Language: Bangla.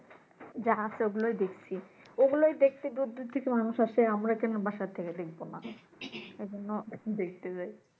যা আছে ওগুলোই দিচ্ছি ওগুলোই দেখতে দূর দূর থেকে মানুষ আসে আমরা কেন বাসা থেকে দেখবোনা ওইজন্য দেখতে যাই।